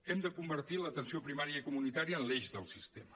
hem de convertir l’atenció primària i comunitària en l’eix del sistema